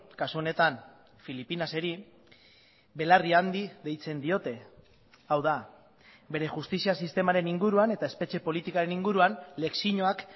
kasu honetan filipinaseri belarri handi deitzen diote hau da bere justizia sistemaren inguruan eta espetxe politikaren inguruan lezioak